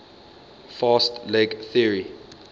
fast leg theory